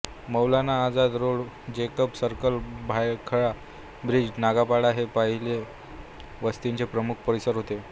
मौलाना Azad road Jacob circle Byculla bridge Nagpada हे पहिले वस्तीचे प्रमुख परिसर होते